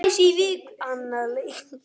Annar leikur